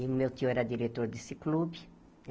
E o meu tio era diretor desse clube.